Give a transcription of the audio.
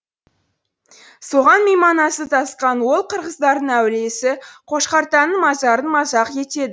соған мейманасы тасқан ол қырғыздардың әулиесі қошқартаның мазарын мазақ